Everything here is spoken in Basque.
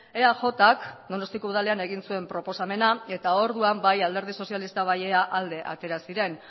eajk donostiako udalean egin zuen proposamena eta orduan bai alderdi sozialista bai ea alde atera ziren